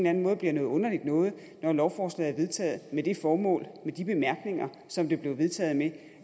anden måde bliver noget underligt noget når lovforslaget er vedtaget med det formål og med de bemærkninger som det blev vedtaget med